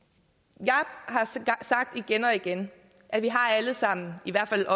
jeg har sagt igen og igen at vi alle sammen i hvert fald